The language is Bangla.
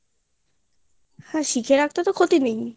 হ্যাঁ শিখে রাখতে তো কোনো ক্ষতি নেই